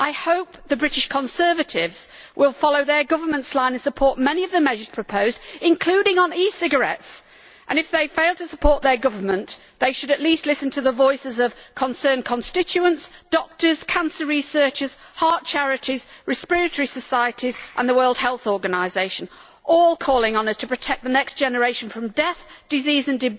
I hope the British Conservatives will follow their government's line and support many of the measures proposed, including on e cigarettes, and if they fail to support their government, they should at least listen to the voices of concerned constituents, doctors, cancer researchers, heart charities, respiratory societies and the World Health Organisation, all calling on us to protect the next generation from death, disease and